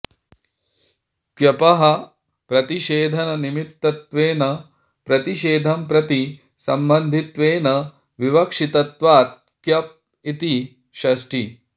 क्यपः प्रतिषेधनिमित्तत्वेन प्रतिषेधं प्रति सम्बन्धित्वेन विवक्षितत्वात् क्यप इति षष्ठी